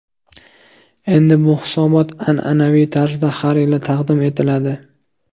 Endi bu hisobot an’anaviy tarzda har yili taqdim etiladi.